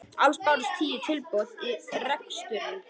Alls bárust tíu tilboð í reksturinn